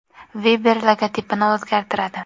Viber logotipini o‘zgartiradi.